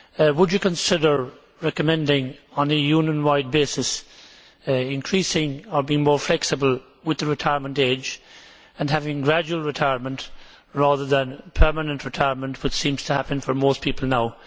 Would you consider recommending, on a Union wide basis, increasing, or being more flexible with, the retirement age and having gradual retirement rather than permanent retirement, which seems to happen for most people now?